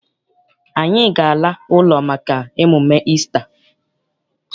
Anyị ga- ala ụlọ maka emume Isita.